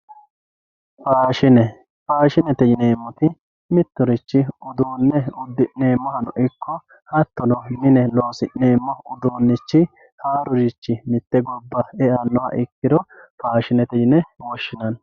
Faashine, faashinete yineemorichi mitirichi uduune udineemohano ikko hatono mine loosi'neemo uduunichi haarurichi mite gobbanni e'anohha ikkiro faashinete yine woshinanni